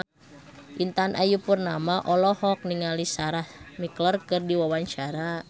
Intan Ayu Purnama olohok ningali Sarah McLeod keur diwawancara